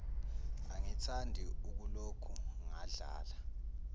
angithandi ukuloku ngadlala